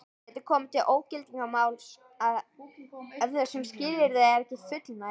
Getur komið til ógildingarmáls ef þessum skilyrðum er ekki fullnægt.